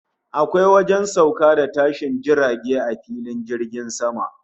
Akwai wajen sauka da tashin jirage a filin jirgin sama